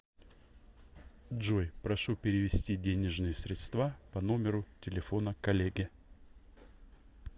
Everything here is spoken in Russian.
джой прошу перевести денежные средства по номеру телефона коллеге